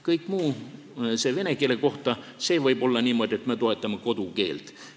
Kõik muu, see, mis käib vene keele kohta, võib olla niimoodi, et me toetame kodukeelt.